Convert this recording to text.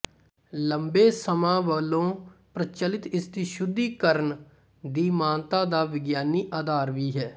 ਲੰਬੇ ਸਮਾਂ ਵਲੋਂ ਪ੍ਰਚੱਲਤ ਇਸਦੀ ਸ਼ੁੱਧੀਕਰਣ ਦੀ ਮਾਨਤਾ ਦਾ ਵਿਗਿਆਨੀ ਆਧਾਰ ਵੀ ਹੈ